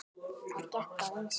Þar gekk á ýmsu.